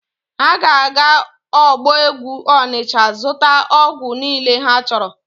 Ha ga-aga ọgbọ ọgwụ Ọnịcha zụta ọgwụ niile ha chọrọ.